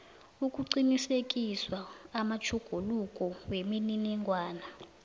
ukuqinisekisa amatjhuguluko wemininingwana